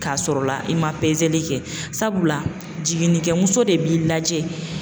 K'a sɔr'o la i ma pezeli kɛ, sabula jiginnikɛmuso de b'i lajɛ